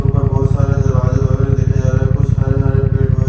ऊपर बहुत सारे दरवाजे वगैरा देखे जा रहे कुछ हरे हरे पेड़ वगै--